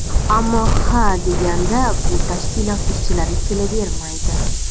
Ammo ha deganda bu tashkilot ishchilari kelavermaydi.